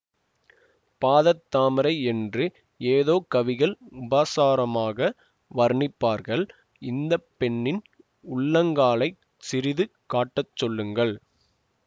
பாதத்தாமரை என்று ஏதோ கவிகள் உபாசாரமாக வர்ணிப்பார்கள் இந்த பெண்ணின் உள்ளங்காலைச் சிறிது காட்டச் சொல்லுங்கள்